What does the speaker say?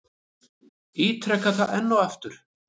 Ítreka það enn og aftur.